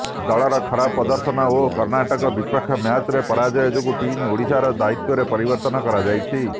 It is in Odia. ଦଳର ଖରାପ ପ୍ରଦର୍ଶନ ଓ କର୍ଣ୍ଣାଟକ ବିପକ୍ଷ ମ୍ୟାଚରେ ପରାଜୟ ଯୋଗୁଁ ଟିମ ଓଡ଼ିଶାର ଦାୟିତ୍ୱରେ ପରିବର୍ତ୍ତନ କରାଯାଇଛି